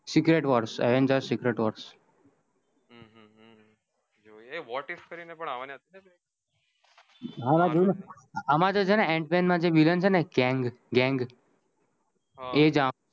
secret Wars Avengers secret Wars what if કરી ને પણ આવની હતી આમાં તો છે ને અંત મેન માં વિલન છે ને કેંગ ગેંગ એ જ